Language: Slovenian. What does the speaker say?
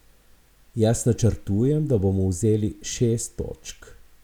Jaz načrtujem, da bomo vzeli šest točk.